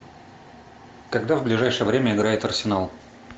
когда в ближайшее время играет арсенал